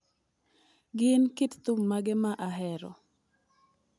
Gin kit thum mage ma ahero